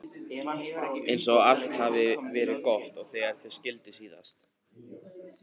Eins og allt hafi verið gott þegar þau skildu síðast.